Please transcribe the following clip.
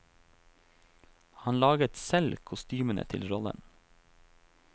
Han laget selv kostymene til rollen.